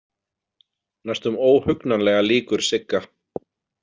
Næstum óhugnanlega líkur Sigga.